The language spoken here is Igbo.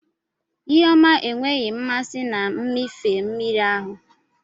Ihu ọma enweghị mmasị na mmịfe mmiri ahụ.